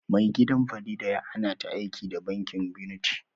Mai gidan Farida ya hannata aiki da'bankin unity